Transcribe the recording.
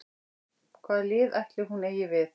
Hvað lið ætli hún eigi við?